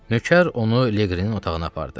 Nökər onu Leqrinin otağına apardı.